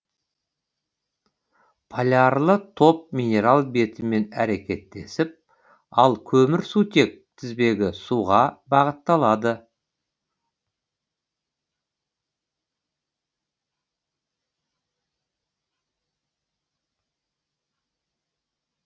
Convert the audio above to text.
полярлы топ минерал бетімен әрекеттесіп ал көмірсутек тізбегі суға бағытталады